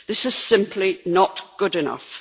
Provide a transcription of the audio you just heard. This is simply not good enough.